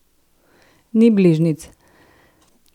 Ni bližnjic!